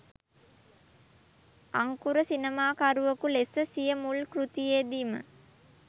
අංකුර සිනමාකරුවකු ලෙස සිය මුල් කෘතියේදීම